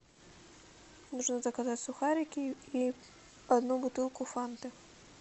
нужно заказать сухарики и одну бутылку фанты